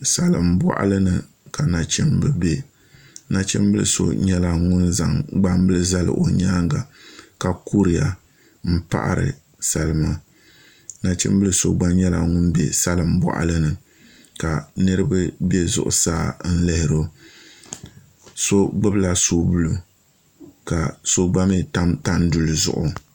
salimbɔɣili ni ka nachimba be nachimbil' so nyɛla ŋun zaŋ gbambila zali o nyaanga ka kuriya m-paɣiri salima nachimbil' so gba nyɛla ŋun be salim' bɔɣili ni ka niriba be zuɣusaa n lihiri o so gbubila soobuli ka so gba mi tam tanduli zuɣu